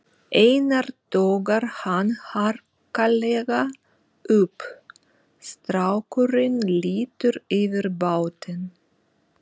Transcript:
Einar togar hann harkalega upp, strákurinn lítur yfir bátinn